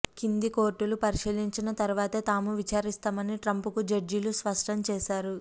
కింది కోర్టులు పరిశీలించిన తర్వాతే తాము విచారిస్తామని ట్రంప్ కు జడ్జీలు స్పష్టం చేశారు